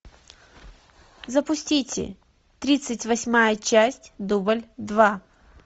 запустите тридцать восьмая часть дубль два